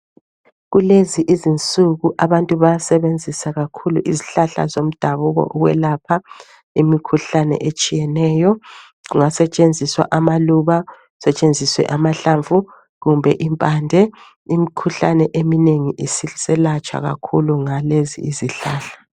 Kulezi izinsuku abantu bayasebenzisa kakhulu izihlahla zomdabuko ukwelapha imikhuhlane etshiyeneyo. Kungasetshenziswa amaluba, kusethenziswe amahlamvu kumbe impande. Imikhuhlane eminengi isiselatshwa kakhulu ngalezi izihlahla.